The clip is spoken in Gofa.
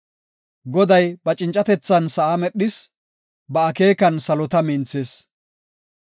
Goday ba cincatethan sa7aa medhis; ba akeekan salota minthis.